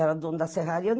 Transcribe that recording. Era dono da serraria.